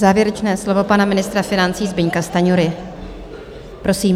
Závěrečné slovo pana ministra financí Zbyňka Stanjury, prosím.